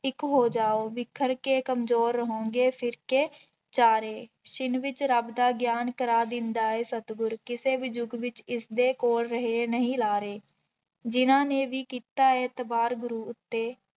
ਇੱਕ ਹੋ ਜਾਓ ਬਿਖਰ ਕੇ ਕੰਮਜ਼ੋਰ ਰਹੋਂਗੇ ਫਿਰ ਕੇ ਚਾਰੇ, ਛਿੰਨ ਵਿੱਚ ਰੱਬਦਾ ਗਿਆਨ ਕਰਵਾ ਦਿੰਦਾ ਹੈ ਸਤਿਗੁਰ, ਕਿਸੇ ਵੀ ਯੁੱਗ ਵਿੱਚ ਇਸਦੇ ਕੋਲ ਰਹੇ ਨਹੀਂ ਲਾਰੇ, ਜਿਹਨਾਂ ਨੇ ਵੀ ਕੀਤਾ ਹੈ ਇਤਬਾਾਰ ਗੁਰੂ ਉੱਤੇ,